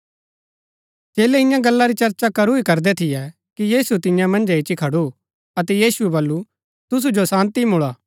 चेलै ईयां गल्ला री चर्चा करू ही करदै थियै कि यीशु तियां मन्‍झै इच्ची खडू अतै यीशुऐ बल्लू तुसु जो शान्ती मुळा